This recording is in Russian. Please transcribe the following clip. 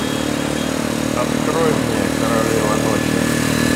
открой мне королева ночи